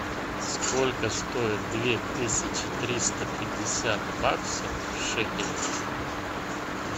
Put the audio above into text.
сколько стоит две тысячи триста пятьдесят баксов в шекелях